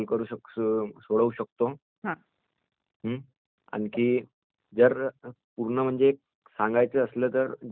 हम्म्....आणखी जर पूर्ण म्हणजे सांगालयचं असलं तर..जस संगणकामुळे आपली म्हणजे